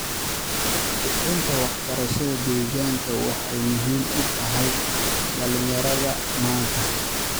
Kicinta waxbarashada deegaanka waxay muhiim u tahay dhalinyarada maanta.